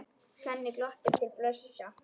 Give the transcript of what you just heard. Svenni glottir til Bjössa.